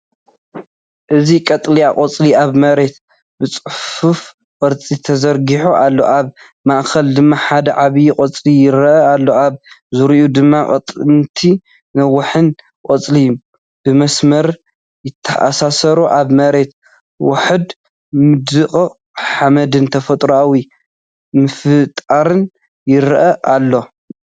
እዚ ቀጠልያ ቆጽሊ ኣብ መሬት ብጽፉፍ ቅርጺ ተዘርጊሑ ኣሎ። ኣብ ማእከል ድማ ሓደ ዓቢ ቆጽሊ ይረአ ኣሎ። ኣብ ዙርያኡ ድማ ቀጠንቲን ነዊሕን ቆጽሊ ብመስመር ይተኣሳሰሩ። ኣብ መሬት ውሑድ ምድቃቕ ሓመድን ተፈጥሮኣዊ ምፍጣርን ይረኣይ ኣለው።